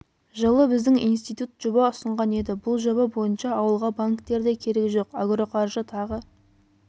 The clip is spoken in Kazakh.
жылы біздің институт жоба ұсынған еді бұл жоба бойынша ауылға банктер де керек жоқ агроқаржы тағы